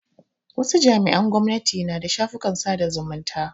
Wasu jami'an gwamnati na da shafukan sada zumunta.